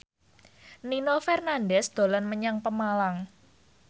Nino Fernandez dolan menyang Pemalang